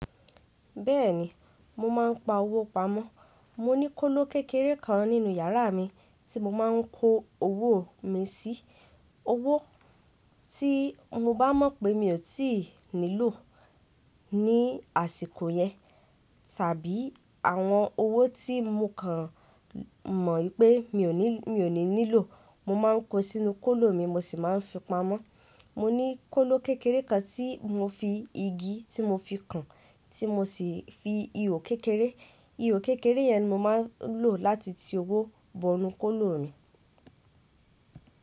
Bẹ́ẹ̀ni, mo máa ń pa owó pamọ́. Mo ní kóló kékeré kan nínú yàrá mi tí mo máa ń kó owó mi sí. Owó tí mo bá mọ̀ pé mi ò tí ì nílò ní àsìkò yẹn tàbí àwọn owó tí mo kàn mọ̀ pé mi ò ní nílò, mo máa ń kó sínú kóló mi mo sì máa ń fi pamọ́. Mo ní kóló kékeré kan tí mo fi igi tí mo fi kàn tí mo sì fi ihò kékeré. Ihò kékeré yẹn ni mo máa ń lò láti ti owó bọ inú kóló mi.